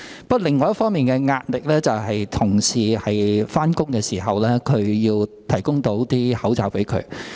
不過，另一方面的壓力是當同事上班時，我們要向他們提供口罩。